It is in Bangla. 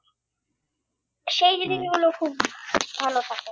সেই খুব ভালো থাকে।